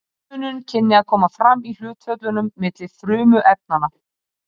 Eini munurinn kynni að koma fram í hlutföllunum milli frumefnanna.